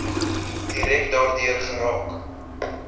direk daardeur geraak